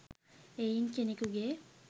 එයින් කෙනෙකුගේ